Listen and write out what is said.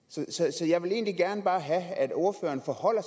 så jeg vil egentlig bare gerne have at ordføreren forholder